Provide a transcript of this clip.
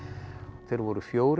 þeir voru fjórir